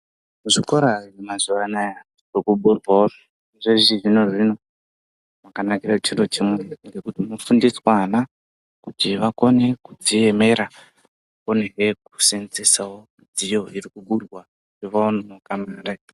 Zvikora mazuwa anaya kukuburwawo zvechizvinozvino chakanakira chiro chimwe chekuti unofundisanwa kuti vakone kudziemera akonehe kuseenzesawo dziyo iri kuburwa neanhu .